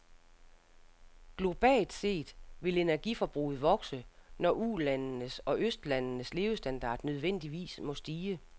Globalt set vil energiforbruget vokse, når ulandes og østlandes levestandard nødvendigvis må stige.